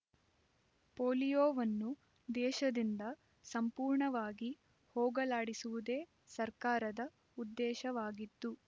ಪೋಲಿಯೋವನ್ನು ದೇಶದಿಂದ ಸಂಪೂರ್ಣವಾಗಿ ಹೋಗಲಾಡಿಸುವುದೇ ಸರ್ಕಾರದ ಉದ್ದೇಶವಾಗಿದ್ದು